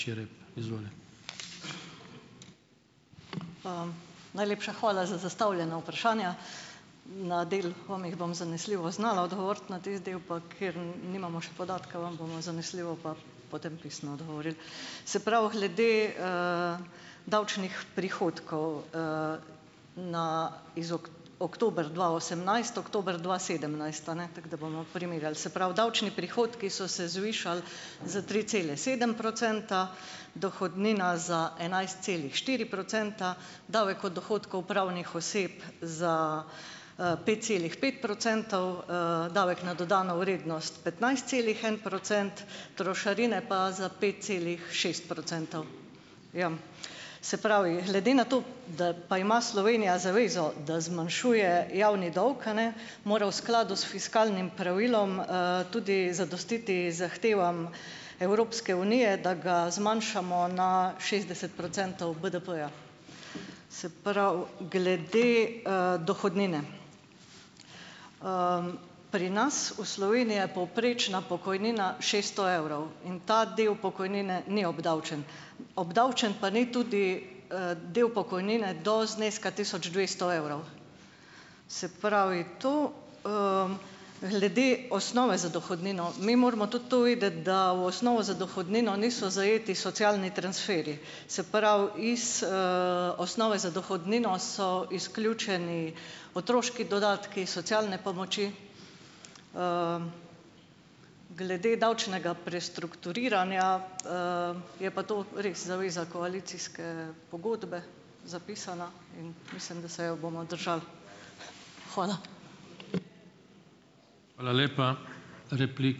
Najlepša hvala za zastavljena vprašanja. Na del vam jih bom zanesljivo znala odgovoriti, na tisti del, pa kjer nimamo še podatke, vam bomo zanesljivo pa potem pisno odgovorili. Se pravi, glede, davčnih prihodkov, na iz oktober dva osemnajst-oktober dva sedemnajst, a ne, tako da bomo primerjali. Se pravi, davčni prihodki so se zvišali za tri cele sedem procenta, dohodnina za enajst celih štiri procenta, davek od dohodkov pravnih oseb za, pet celih pet procentov, davek na dodano vrednost petnajst celih en procent, trošarine pa za pet celih šest procentov. Ja. Se pravi, glede na to, da pa ima Slovenija zavezo, da zmanjšuje javni dolg, a ne, mora v skladu s fiskalnim pravilom, tudi zadostiti zahtevam Evropske unije, da ga zmanjšamo na šestdeset procentov BDP-ja. Se pravi, glede, dohodnine. Pri nas v Sloveniji je povprečna pokojnina šeststo evrov in ta del pokojnine ni obdavčen. Obdavčen pa ni tudi, del pokojnine do zneska tisoč dvesto evrov. Se pravi to. Glede osnove za dohodnino. Mi moramo tudi to vedeti, da v osnovno za dohodnino niso zajeti socialni transferi, se pravi, iz, osnove za dohodnino so izključeni otroški dodatki, socialne pomoči. Glede davčnega prestrukturiranja, je pa to res zaveza koalicijske pogodbe zapisana in mislim, da se jo bomo držali. Hvala.